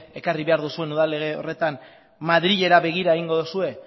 ekarri behar duzuen udal lege horretan madrilera begira egingo duzue